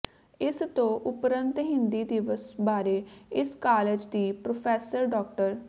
ਇਸ ਤੋਂ ਉਪਰੰਤ ਹਿੰਦੀ ਦਿਵਸ ਬਾਰੇ ਇਸ ਕਾਲਜ ਦੀ ਪ੍ਰਰੋਫੈਸਰ ਡਾ